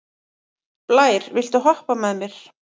Blær, viltu hoppa með mér?